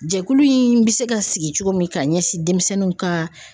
Jɛkulu in bɛ se ka sigi cogo min ka ɲɛsin denmisɛnninw ka.